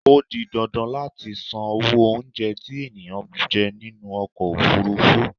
Ó di dandan láti san owó oúnjẹ tí ènìyàn bá jẹ nínú ọkọ ofúrúfú.